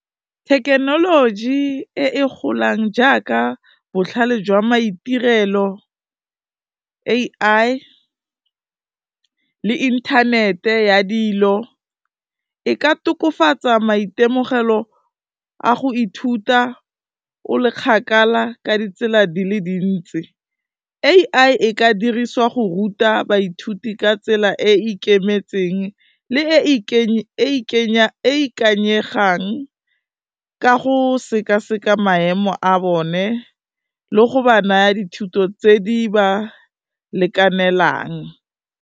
Thekenoloji e e golang jaaka botlhale jwa maitirelo, A_I le inthanete ya dilo, e ka tokafatsa maitemogelo a go ithuta o le kgakala ka ditsela di le dintsi, A_I e ka dirisiwa go ruta baithuti ka tsela e ikemetseng le e e ikanyegang ka go sekaseka maemo a bone le go ba naya dithuto tse di ba lekanelang.